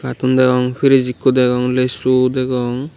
ton degong friz ekko degong lesu degong.